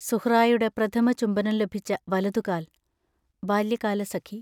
സുഹ്റായുടെ പ്രഥമ ചുംബനം ലഭിച്ച വലതുകാൽ ബാല്യകാലസഖി